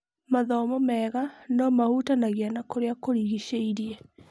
Mathomo mega no-mahutanagia na kũrĩa kũrigicĩirie.